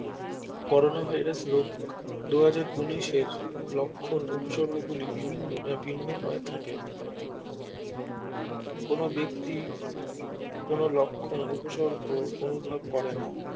Corona virus রোগ দুহজার উনিশের লক্ষ্যন উপসর্গ গুলি ভিন্ন হয়ে থাকে কোনো ব্যক্তি কোনো লক্ষ্যন উপসর্গ অনুভব করেনা